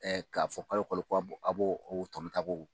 Ɛ k'a fɔ kalo o kolo ko a' b'o tɔnɔ ta a b'o